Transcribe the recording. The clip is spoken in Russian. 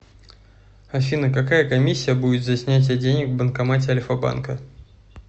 афина какая комиссия будет за снятие денег в банкомате альфа банка